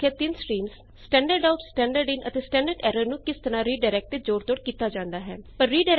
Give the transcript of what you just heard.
ਅਸੀ ਦੇਖਿਆ ਤਿੰਨ streams standard out standard in ਅਤੇ ਸਟੈਂਡਰਡ ਐਰਰ ਨੂੰ ਕਿਸ ਤਰਹ ਰੀਡਾਇਰੈਕਟ ਤੇ ਜੋੜ ਤੋੜ ਕੀਤਾ ਜਾਂਦਾ ਹੈ